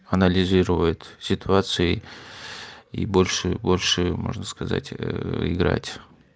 анализирует ситуации и больше больше можно сказать играть